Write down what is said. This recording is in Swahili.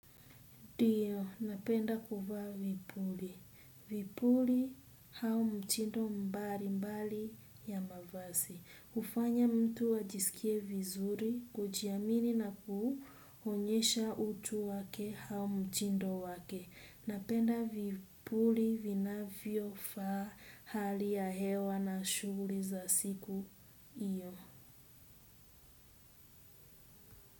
Ndio, napenda kuvaa vipuli. Vipuli au mchindo mbali mbali ya mavazi. Hufanya mtu ajisikie vizuri, kujiamini na kuonyesha utu wake au mtindo wake. Napenda vipuli vinavyofaa hali ya hewa na shughuli za siku hiyo.